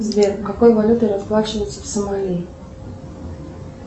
сбер какой валютой расплачиваются в сомали